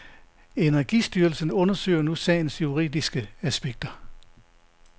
Energistyrelsen undersøger nu sagens juridiske aspekter.